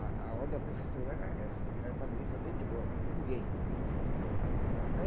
A a ordem da Prefeitura era essa, não era para ninguém fazer de bloco, ninguém. Aí